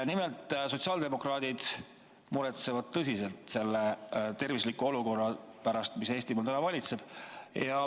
Nimelt, sotsiaaldemokraadid muretsevad tõsiselt selle terviseolukorra pärast, mis Eestimaal valitseb.